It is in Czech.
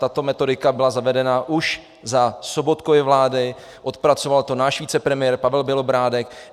Tato metodika byla zavedena už za Sobotkovy vlády, odpracoval to náš vicepremiér Pavel Bělobrádek.